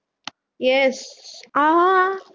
yes ஆஹ்